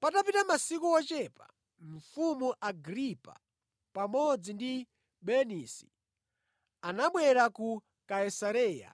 Patapita masiku ochepa mfumu Agripa pamodzi ndi Bernisi anabwera ku Kaisareya